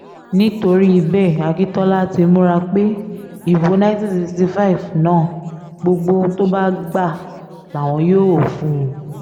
nítorí bẹ́ẹ̀ akintola ti múra pé ìbò nineteen sixty five náà gbogbo ohun tó bá gbà làwọn yóò fún un